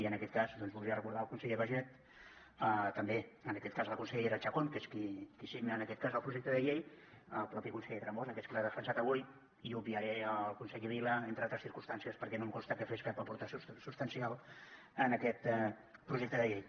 i en aquest cas doncs voldria recordar el conseller baiget també en aquest cas la consellera chacón que és qui signa en aquest cas el projecte de llei el mateix conseller tremosa que és qui l’ha defensat avui i obviaré el conseller vila entre altres circumstàncies perquè no em consta que fes cap aportació substancial a aquest projecte de llei